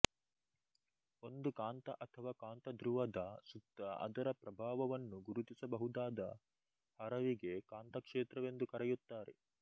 ಒಂದು ಕಾಂತ ಅಥವಾ ಕಾಂತಧ್ರುವದ ಸುತ್ತ ಅದರ ಪ್ರಭಾವವನ್ನು ಗುರುತಿಸಬಹುದಾದ ಹರವಿಗೆ ಕಾಂತಕ್ಷೇತ್ರವೆಂದು ಕರೆಯುತ್ತಾರೆ